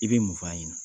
I bɛ mun f'a ɲɛna